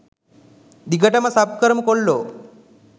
දිගටම සබ් කරමු කොල්ලෝ